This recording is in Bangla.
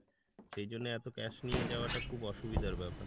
সেই জন্য এতো cash নিয়ে যাওয়াটা খুব অসুবিধার ব্যাপার।